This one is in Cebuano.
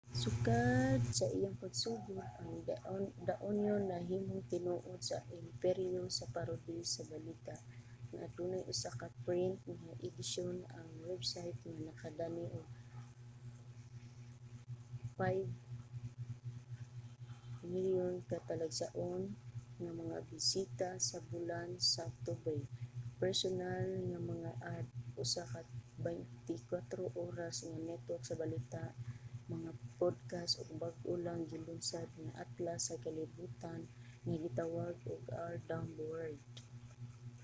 sukad sa iyang pagsugod ang the onion nahimong tinuod nga imperyo sa parody sa balita nga adunay usa ka print nga edisyon ang website nga nakadani og 5,000,000 ka talagsaon nga mga bisita sa bulan sa oktubre personal nga mga ad usa ka 24 oras nga network sa balita mga podcast ug bag-o lang gilunsad nga atlas sa kalibutan nga gitawag og our dumb world